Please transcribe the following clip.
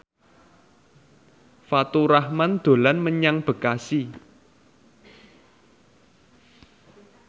Faturrahman dolan menyang Bekasi